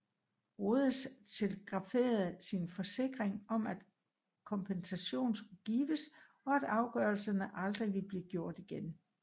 Rhodes telegraferede sin forsikring om at kompensation skulle gives og at afgørelser aldrig ville blive gjort igen